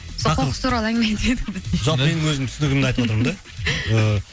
сол қоқыс туралы әңгіме айтып едік қой жоқ менің өзімнің түсінігімді айтып отырмын да ыыы